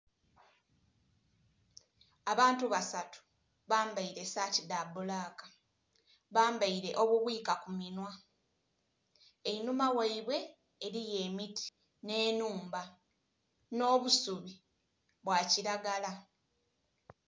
Abantu basatu bambaire saati dhabbulaka, bambaire obubwika kumunhwa. Enhuma waibwe eriyo emiti n'enhumba, n'obusubi bwakiragala.